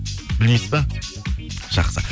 білмейсіз ба жақсы